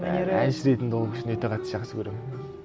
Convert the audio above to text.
әнші ретінде ол кісіні өте қатты жақсы көремін